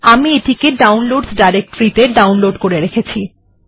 আমি এটিকে ডাউনলোডসহ ডিরেক্টরি তে ডাউনলোড় করে রেখেছি